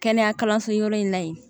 Kɛnɛya kalanso yɔrɔ in na yen